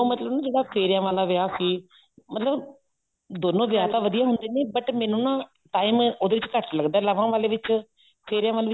ਮਤਲਬ ਜਿਹੜਾ ਫੇਰਿਆਂ ਵਾਲਾ ਵਿਆਹ ਸੀ ਮਤਲਬ ਦੋਨੋ ਵਿਆਹ ਤਾਂ ਵਧੀਆਂ ਹੁੰਦੇ ਨੇ but ਮੈਨੂੰ ਨਾ time ਉਹਦੇ ਵਿੱਚ ਘੱਟ ਲੱਗਦਾ ਲਾਵਾਂ ਵਾਲੇ ਚ ਫੇਰੀਆਂ ਵਾਲੇ